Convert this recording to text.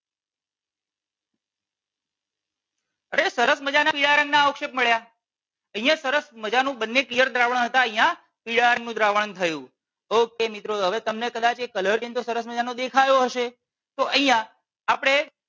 હવે સરસ મજાનાં પીળા રંગના અવક્ષેષ મળ્યા. અહિયાં સરસ મજાનું બંને પીળા રંગના દ્રાવણ હતા અહિયાં પીળા રંગનું દ્રાવણ થયું okay મિત્રો હવે તમને કદાચ એ કલર સરસ મજાનો દેખાયો હશે. તો અહિયાં આપણે